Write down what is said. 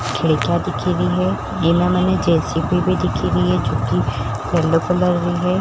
खिडक्या दिखी रही है मने जे_सी_बी भी दिखी रि है जोकि येलो कलर री है।